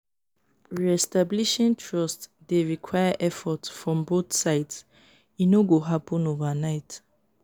re-establishing trust dey require effort from both sides; e no go happen overnight.